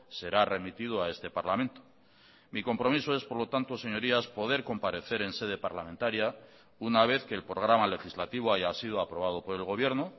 será remitido a este parlamento mi compromiso es por lo tanto señorías poder comparecer en sede parlamentaria una vez que el programa legislativo haya sido aprobado por el gobierno